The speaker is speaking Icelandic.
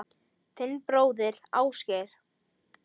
Þinn bróðir, Ásgeir.